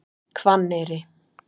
Hvanneyri